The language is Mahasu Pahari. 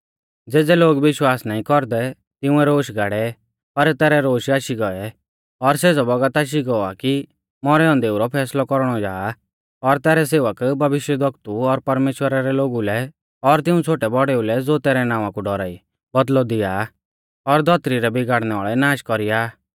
ज़ेज़ै लोग विश्वास नाईं कौरदै तिंउऐ रोश गाड़ै पर तैरै रोश आशी गौऐ और सेज़ौ बौगत आशी गौ आ कि मौरै औन्देऊ रौ फैसलौ कौरणौ जा और तैरै सेवक भविष्यवक्तु और परमेश्‍वरा रै लोगु लै और तिऊं छ़ोटैबौड़ेऊ लै ज़ो तैरै नावां कु डौराई बौदल़ौ दिया आ और धौतरी रै बिगाड़णैवाल़ै नाश कौरी आ